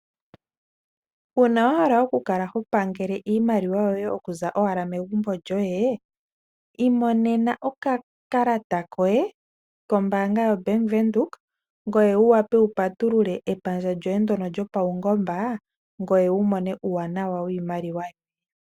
Uuna wahala okukala ho pangela iimaliwa yoye oku za owala megumbo loye, imonena okakalata koye ko mbaanga yo bank windhoek ngoye wu wape wu patulule epandja lyoye lyo ndjono lyo paungomba ngoye wumone uuwanawa woshimaliwa shoye.